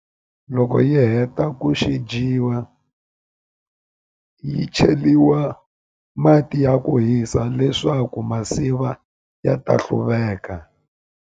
Loko yi heta ku xi dyiwa yi cheliwa mati ya ku hisa leswaku masiva ya ta hluveka.